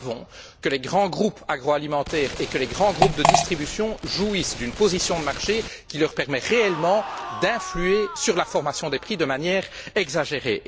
Nous savons que les grands groupes agroalimentaires et les grands groupes de distribution jouissent d'une position de marché qui leur permet réellement d'influer sur la formation des prix de manière exagérée.